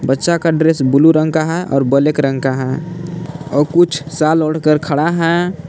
बच्चा का dress blue रंग का है और ब्लैक रंग का है और कुछ साल ओढ़ कर खड़ा है।